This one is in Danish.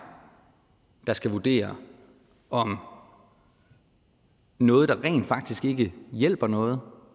der skal vurdere om noget der rent faktisk ikke hjælper noget